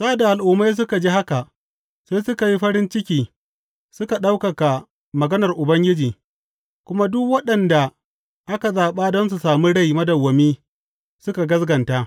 Sa’ad da Al’ummai suka ji haka, sai suka yi farin ciki suka ɗaukaka maganar Ubangiji; kuma duk waɗanda aka zaɓa don samun rai madawwami, suka gaskata.